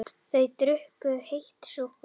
Þau drukku heitt súkkulaðið.